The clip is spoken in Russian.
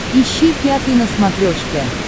ищи пятый на смотрешке